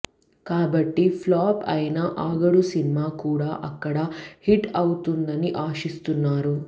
కాబట్టి ఫ్లాప్ అయిన ఆగడు సినిమా కూడా అక్కడ హిట్ అవుతుందని ఆశిస్తున్నారు